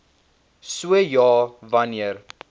so ja wanneer